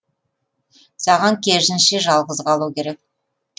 саған керісінше жалғыз қалу керек